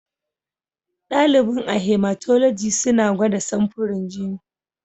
Dalibin a Hematology suna gwada samfurin jini.